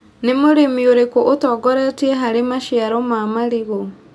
Nĩ mũrĩmi ũrĩkũ ũtongoretie harĩ maciaro ma marigũ.